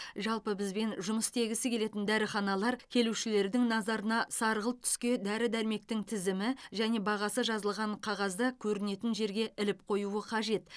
жалпы бізбен жұмыс істегісі келетін дәріханалар келушілердің назарына сарғылт түске дәрі дәрмектің тізімі және бағасы жазылған қағазды көрінетін жерге іліп қоюы қажет